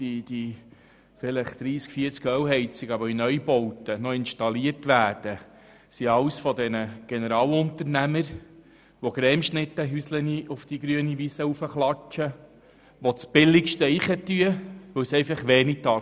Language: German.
Die 30 bis 40 Ölheizungen, die heute noch in Neubauten eingebaut werden, stammen alle von Generalunternehmern, die Häuser wie Cremeschnitten auf die grüne Wiese klatschen, die das Billigste wählen, weil es nichts kosten darf.